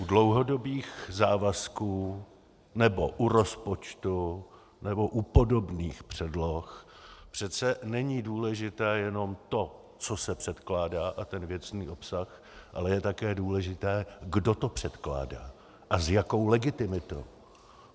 U dlouhodobých závazků nebo u rozpočtu nebo u podobných předloh přece není důležité jenom to, co se předkládá, a ten věcný obsah, ale je také důležité, kdo to předkládá a s jakou legitimitou.